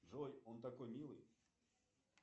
джой он такой милый